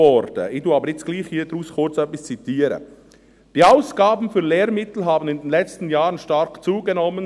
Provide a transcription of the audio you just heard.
Ich zitiere hier trotzdem kurz etwas daraus: «Die Ausgaben für Lehrmittel haben in den letzten Jahren stark zugenommen.